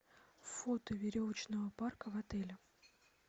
фото веревочного парка в отеле